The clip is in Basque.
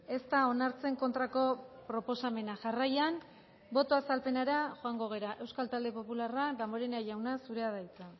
ez da onartzen kontrako proposamena jarraian boto azalpenera joango gara euskal talde popularra damborenea jauna zurea da hitza